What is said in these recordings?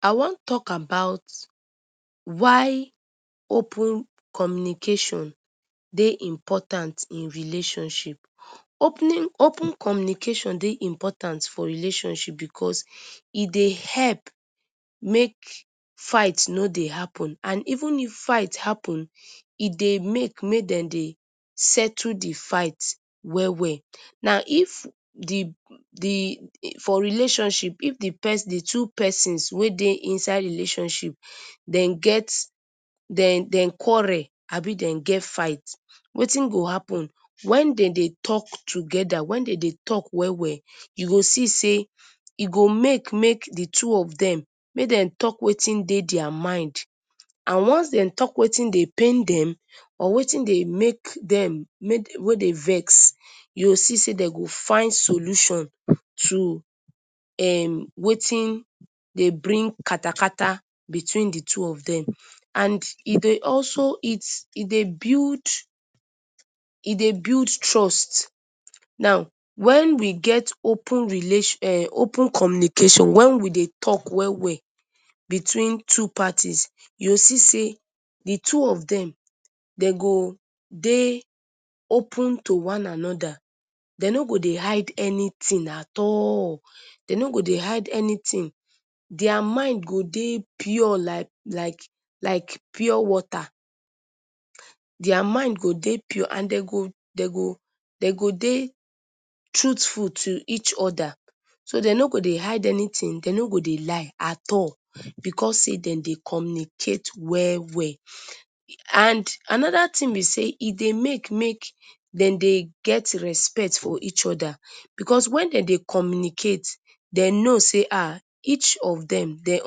I wan talk about y open communication Dey important in relationship, open communication Dey important for relationship because, e Dey help make fight no Dey happen and even if fight happen e Dey make may dem Dey settle d fight well well. Now, for relationship if d two persins wey Dey inside relationship dem quarrel Abi dem get fight, Wetin go happen, wen dem Dey talk togeda, wen dem Dey talk well well u go see sey e go make may d two of dem make dem talk Wetin Dey their mind, and once dem talk Wetin Dey pain dem or Wetin Dey make dem May dem vex, u go see sey dem go find solution to Wetin Dey bring katakata between d two of dem, and e Dey bulid trust, now when we get open communication, wen we Dey talk weh weh, between two parties, u go see sey d two of dem dem go Dey open to one anoda, dem no go Dey hide anything at all dem no go Dey hide anything, their mind go Dey pure like pure water, their mind go Dey pure and dem go Dey truthful to each oda, so dem no go Dey hide anything dem no go Dey lie, because sey dem Dey communicate well well, and anoda thing b sey e Dey make make dem Dey get respect for each oda, because wen dem Dey communicate dem no sey each of dem, Dey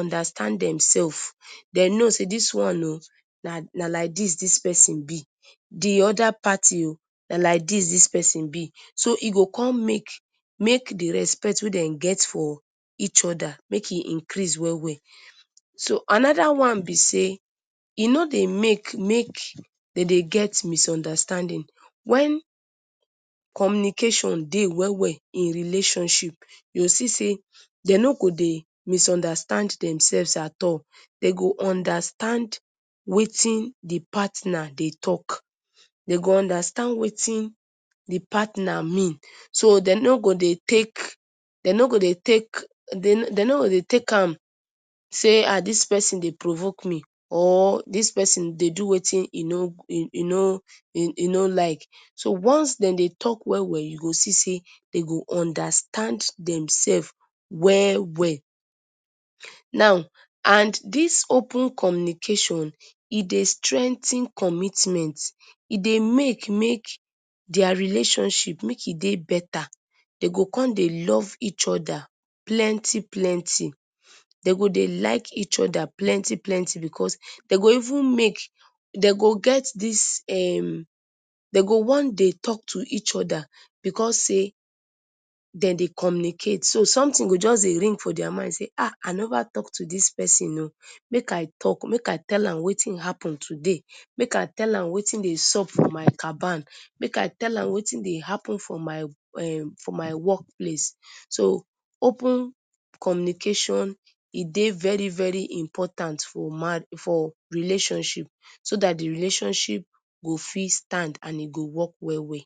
understand dem sef dem no say dis one na like dis dis persin b, d oda party o na like dis sis persin b, so e go con make may d respect wey dem get for each oda make e increase well well, so anoda one b sey e no Dey make may dem Dey get misunderstanding wen communication Dey well well in relationship u go see Dey dem no go Dey misunderstand dem self at all, dem go understand Wetin d partner Dey talk, dem go understand Wetin d partner mean, so dem no go Dey take am sey ahh dis persin dey provoke me, or dis persin dey do Wetin e no like, so once dem dey talk well well I go see sey dem understand dem selves well well, and dis open communication e dey strengthen commitment, e dey make may their relationship make e dey beta, dem go con Dey love each plenty plenty, dem go Dey like each oda plenty plenty, because dem go even make, dem go get dis um dem go wan Dey talk to each oda because sey, dem dey communicate, so sometin go jus dey ring for their mind sey ahh I Neva talk to dis persin o, make I tell am Wetin happen today, make I tell am Wetin Dey sup for my caban, make I tell am Wetin Dey happen for my work place, so open communication e dey very very important for relationship so dat d relationship go fit stand and e go work well well.